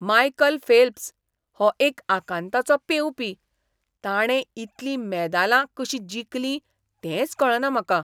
Michael Phelps हो एक आकांताचो पेंवपी. ताणें इतलीं मेदालां कशीं जिखलीं तेंच कळना म्हाका!